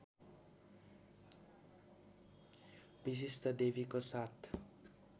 विशिष्टादेवीको साथ